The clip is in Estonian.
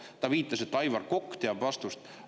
Ta viitas, et Aivar Kokk teab vastust.